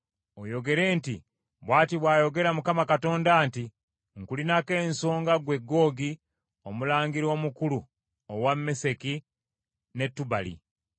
oyogere nti, ‘Bw’ati bw’ayogera Mukama Katonda nti, Nkulinako ensonga ggwe Googi omulangira omukulu owa Meseki ne Tubali.